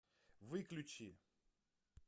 выключи